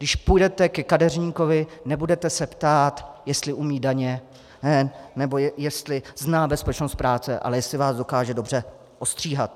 Když půjdete ke kadeřníkovi, nebudete se ptát, jestli umí daně nebo jestli zná bezpečnost práce, ale jestli vás dokáže dobře ostříhat.